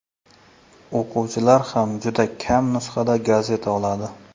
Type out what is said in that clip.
O‘quvchilar ham juda kam nusxada gazeta oladi.